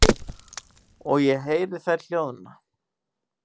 Og ég heyri þær hljóðna.